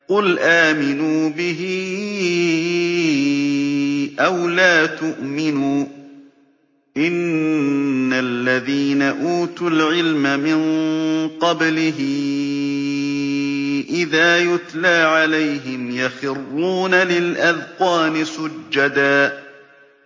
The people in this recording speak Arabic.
قُلْ آمِنُوا بِهِ أَوْ لَا تُؤْمِنُوا ۚ إِنَّ الَّذِينَ أُوتُوا الْعِلْمَ مِن قَبْلِهِ إِذَا يُتْلَىٰ عَلَيْهِمْ يَخِرُّونَ لِلْأَذْقَانِ سُجَّدًا